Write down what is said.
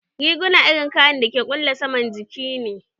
Riguna irin kayan dake kulle saman jiki ne